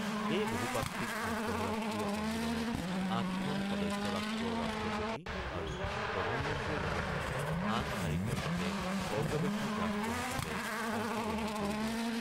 এই বহুপাক্ষিক আন্তঃৰাষ্ট্ৰীয় সন্মিলনত ৮খন সদস্য ৰাষ্ট্ৰৰ ৰাষ্ট্ৰপতি আৰু প্ৰধানমন্ত্ৰীৰ লগতে আন ৪খন দেশে পৰ্যবেক্ষক ৰাষ্ট্ৰ হিচাপে অংশগ্ৰহণ কৰিব।